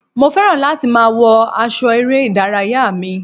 Mo fẹ́ràn láti máa wọ aṣọ eré ìdárayá mi.